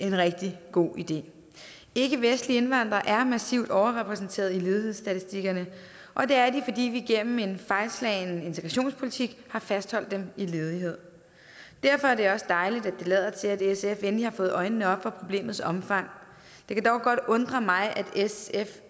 en rigtig god idé ikkevestlige indvandrere er massivt overrepræsenteret i ledighedsstatistikkerne og det er de fordi vi gennem en fejlslagen integrationspolitik har fastholdt dem i ledighed derfor er det også dejligt at det lader til at sf endelig har fået øjnene op for problemets omfang det kan dog godt undre mig at sf